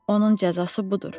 Onun cəzası budur.